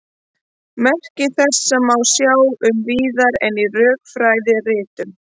Merki þessa má sjá mun víðar en í rökfræðiritunum.